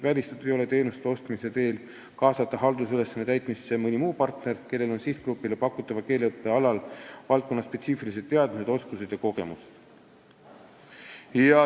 Välistatud ei ole teenuste ostmine, et kaasata haldusülesannete täitmisesse mõni partner, kellel on sihtgrupile pakutava keeleõppe alal valdkonnaspetsiifilised teadmised, oskused ja kogemused.